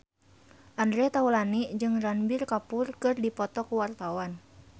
Andre Taulany jeung Ranbir Kapoor keur dipoto ku wartawan